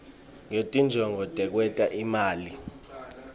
ngetinjongo tekwenta imali